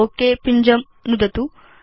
okay पिञ्जं नुदतु